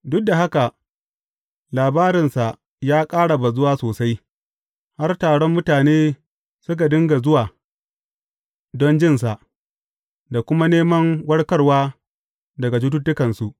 Duk da haka, labarinsa ya ƙara bazuwa sosai, har taron mutane suka dinga zuwa don jinsa, da kuma neman warkarwa daga cututtukansu.